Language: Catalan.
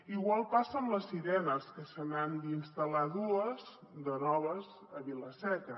igual passa amb les sirenes que se n’han d’instal·lar dues de noves a vila seca